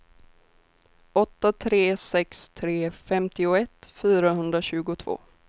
åtta tre sex tre femtioett fyrahundratjugotvå